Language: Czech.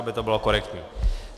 Aby to bylo korektní.